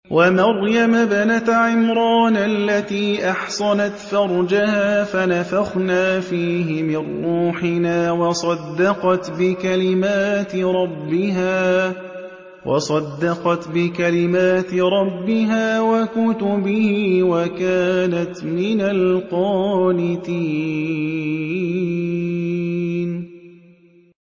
وَمَرْيَمَ ابْنَتَ عِمْرَانَ الَّتِي أَحْصَنَتْ فَرْجَهَا فَنَفَخْنَا فِيهِ مِن رُّوحِنَا وَصَدَّقَتْ بِكَلِمَاتِ رَبِّهَا وَكُتُبِهِ وَكَانَتْ مِنَ الْقَانِتِينَ